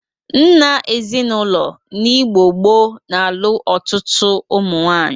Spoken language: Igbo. Nna ezinaụlọ n'Igbo gboo na-alụ ọtụtụ ụmụnwaanyị.